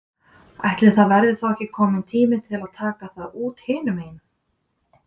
Ætli það verði þá ekki kominn tími til að taka það út hinum megin?